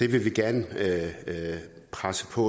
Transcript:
vil vi gerne presse på